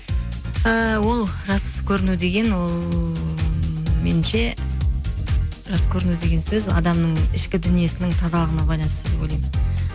ііі ол жас көріну деген ол ммм менімше жас көріну деген сөз адамның ішкі дүниесінің тазалығына байланысты деп ойлаймын